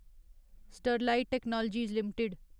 Sterlite technologies limited